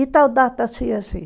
E tal data assim, assim.